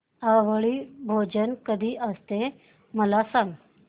आवळी भोजन कधी असते मला सांग